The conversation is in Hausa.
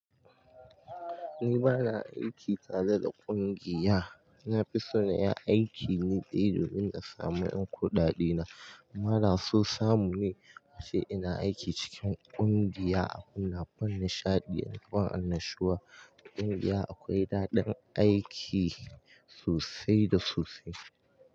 Ni bana aiki tare da ƙungiya. Na fi so na yi aiki ni ɗaya domin in samu yankuɗaɗena. Kuma da so samu ne na ce ina aiki cikin ƙungiya a kunna fannin nishaɗi, a nufin annashuwa. A ƙungiya akwai daɗin aiki sosai da sosai.